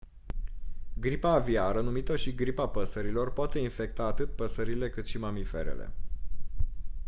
gripa aviară numită și gripa păsărilor poate infecta atât păsările cât și mamiferele